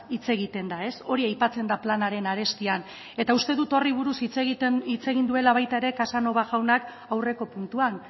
hitz egiten da hori aipatzen da planaren arestian eta uste dut horri buruz hitz egin duela baita ere casanova jaunak aurreko puntuan